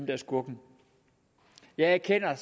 er skurken jeg erkender